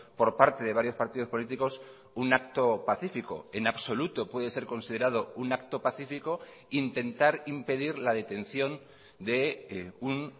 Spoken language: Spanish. por parte de varios partidos políticos un acto pacífico en absoluto puede ser considerado un acto pacífico intentar impedir la detención de un